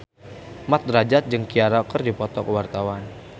Mat Drajat jeung Ciara keur dipoto ku wartawan